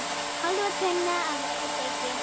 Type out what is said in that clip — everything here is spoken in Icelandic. Hálfa tunnu af ediki.